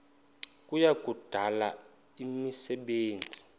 kuya kudala imisebenzi